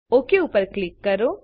okay ઉપર click કરો